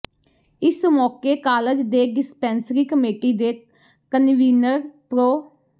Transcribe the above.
ਇਸ ਮੌਕੇ ਕਾਲਜ ਦੇ ਡਿਸਪੈਂਸਰੀ ਕਮੇਟੀ ਦੇ ਕਨਵੀਨਰ ਪ੍ਰਰੋ